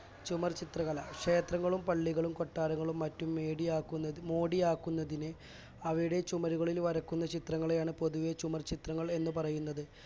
ചുമർചിത്രകല ക്ഷേത്രങ്ങളും പള്ളികളും കൊട്ടാരങ്ങളും മറ്റും മേടിയാകുന്നതിന് മോടിയാക്കുന്നതിന് അവയുടെ ചുമരുകളിൽ വരക്കുന്ന ചിത്രങ്ങളെയാണ് പൊതുവെ ചുമർചിത്രങ്ങൾ എന്നു പറയുന്നത്